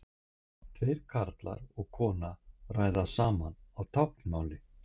Tveir karlar og kona ræða saman á táknmáli.